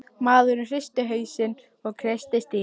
Maðurinn hristi hausinn og kreisti stýrið.